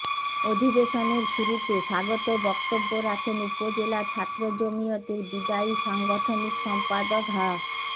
অধিবেশনের শুরুতে স্বাগত বক্তব্য রাখেন উপজেলা ছাত্র জমিয়তের বিদায়ী সাংগঠনিক সম্পাদক হা